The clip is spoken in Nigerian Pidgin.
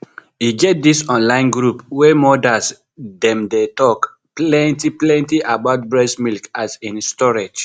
e get this online group wey mothers dem dey talk plenty plenty about breast milk as in storage